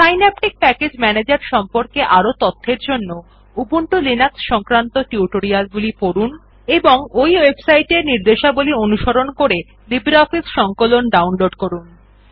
Synaptic package manager সম্পর্কে আরও তথ্যের জন্য উবুন্টু লিনাক্স সংক্রান্ত টিউটোরিয়ালগুলি পড়ুন এবং এই ওয়েবসাইট নির্দেশাবলী অনুসরণ করে লিব্রিঅফিস সংকলন ডাউনলোড করুন